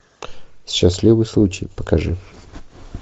счастливый случай покажи